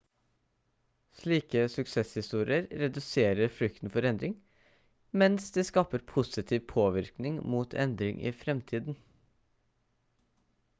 slike suksesshistorier reduserer frykten for endring mens de skaper positiv påvirkning mot endring i fremtiden